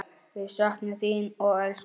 Við söknum þín og elskum.